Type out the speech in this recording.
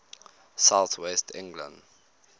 south west england